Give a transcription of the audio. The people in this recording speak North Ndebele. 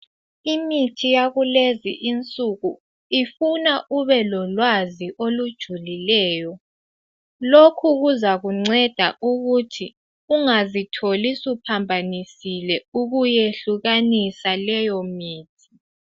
imithi yakulezi insuku ifuna ube lolwazi olujulileyo lokhu kuzakunceda ukuthi ungazitholi usuphambanisile ukuyehlukanisa leyo mithi